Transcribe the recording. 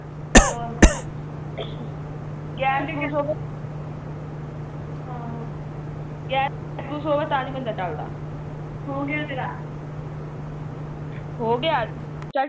ਹੋ ਗਿਆ ਤੇਰਾ